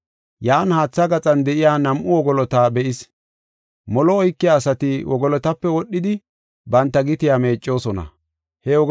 Yan haatha gaxan de7iya nam7u wogolota be7is. Molo oykiya asati wogolotape wodhidi banta gitiya meeccosona. Molo Oykiya Ase